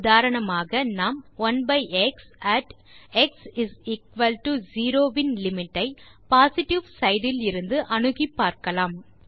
உதாரணமாக நாம் 1எக்ஸ் அட் x0 இன் லிமிட் ஐ பொசிட்டிவ் சைட் இலிருந்து அணுகி காணலாம்